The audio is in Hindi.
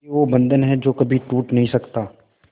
ये वो बंधन है जो कभी टूट नही सकता